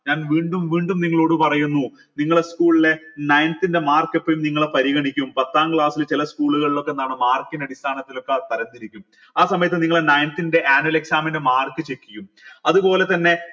ഞാൻ വീണ്ടും വീണ്ടും നിങ്ങളോട് പറയുന്നു നിങ്ങള school ലെ ninth ന്റെ mark പ്പിൽ നിങ്ങളെ പരിഗണിക്കും പത്താം class ൽ ചില school ലൊക്കെ എന്താണ് mark ൻ്റെ അടിസ്ഥാനത്തിലൊക്കെ തരംത്തിരിക്കും ആ സമയത്ത് നിങ്ങള ninth ൻ്റെ annual exam ൻ്റെ mark check ചെയ്യും അതുപോലെ തന്നെ